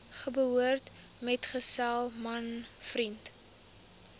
geboortemetgesel man vriend